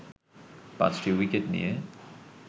পাঁচটি উইকেট নিয়ে